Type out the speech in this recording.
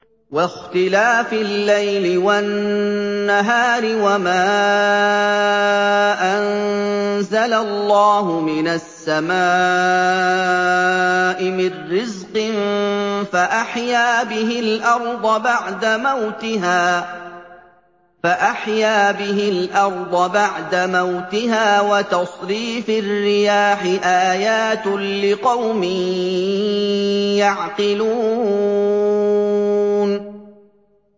وَاخْتِلَافِ اللَّيْلِ وَالنَّهَارِ وَمَا أَنزَلَ اللَّهُ مِنَ السَّمَاءِ مِن رِّزْقٍ فَأَحْيَا بِهِ الْأَرْضَ بَعْدَ مَوْتِهَا وَتَصْرِيفِ الرِّيَاحِ آيَاتٌ لِّقَوْمٍ يَعْقِلُونَ